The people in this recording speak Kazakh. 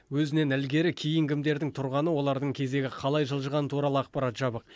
өзінен ілгері кейін кімдердің тұрғаны олардың кезегі қалай жылжығаны туралы ақпарат жабық